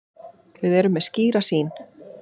Við erum með skýra sýn.